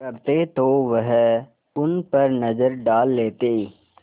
करते तो वह उन पर नज़र डाल लेते